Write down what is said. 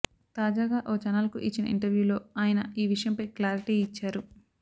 తాజాగా ఓ ఛానల్కు ఇచ్చిన ఇంటర్య్వూలో ఆయన ఈ విషయంపై క్లారిటీ ఇచ్చారు